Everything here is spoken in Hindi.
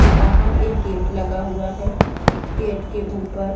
ये बाहर एक गेट लगा हुआ है। गेट के ऊपर--